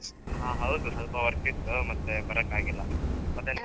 ಹ ಹೌದು ಸ್ವಲ್ಪ work ಇತ್ತು. ಮತ್ತೆ ಬರಕ್ಕಾಗಿಲ್ಲ ಮತ್ತೆ .